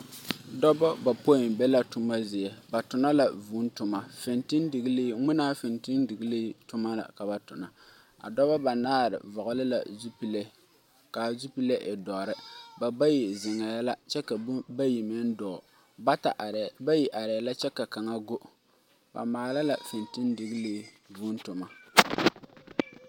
Dɔbɔ bapoi be la tomma zie ba tonnɔ la vʋʋ tomma fiŋtildiglii mwinaa fiŋtildiglii tomma la ka ba tonna a dɔbɔ banaare vɔgli la zupile kaa zupile e dɔri ba bayi zeŋɛɛ la kyɛ ka bayi meŋ dɔɔ bayi areɛɛ la kyɛ ka kaŋa go ba maala la fintildiglii vʋʋ tomma.